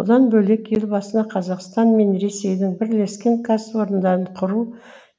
бұдан бөлек елбасына қазақстан мен ресейдің бірлескен кәсіпорындарын құру